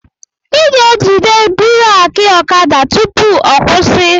I ga-ejide buraaki ọkada tupu ọ kwusi